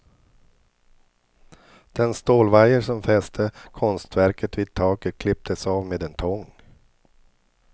Den stålvajer som fäste konstverket vid taket klipptes av med en tång.